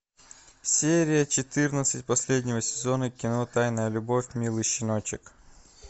серия четырнадцать последнего сезона кино тайная любовь милый щеночек